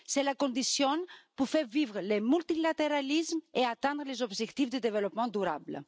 C'est la condition pour faire vivre le multilatéralisme et atteindre les objectifs de développement durable.